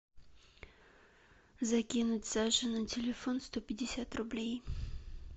закинуть саше на телефон сто пятьдесят рублей